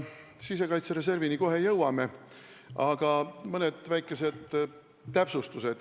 Sisekaitse reservini kohe jõuame, aga enne mõned väikesed täpsustused.